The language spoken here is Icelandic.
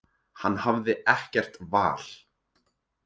Hann hafði ekkert val.